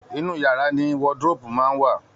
Inú yàrá ni wardrobe máa ń wà